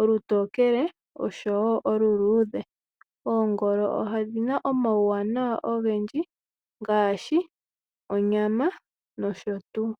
olutokele noluludhe. Oongolo odhina omawanawa ogendji ngaashi onyama nosho tuu.